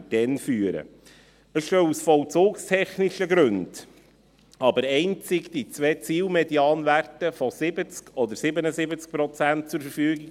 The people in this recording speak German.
Es stehen aus vollzugstechnischen Gründen aber einzig die Ziel-Medianwerte von 70 oder 77 Prozent zur Verfügung.